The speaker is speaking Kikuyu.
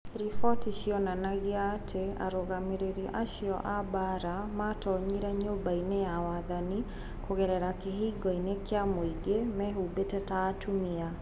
Riboti cionanagia atĩ arũgamĩrĩri acio a mbaara maatoonyire Nyũmba-inĩ ya Wathani kũgerera kĩhingo-inĩ kĩa mũingĩ, mehumbĩte ta atumia".